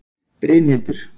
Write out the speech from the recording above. Brynhildur